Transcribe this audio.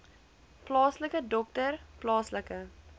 plaaslike dokter plaaslike